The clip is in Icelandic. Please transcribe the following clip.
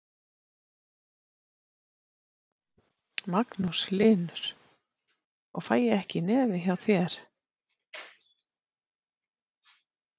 Magnús Hlynur: Og fæ ég ekki í nefið hjá þér?